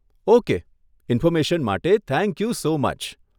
Okay information માટે thank you so much.